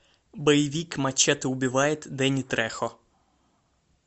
боевик мачете убивает дэнни трехо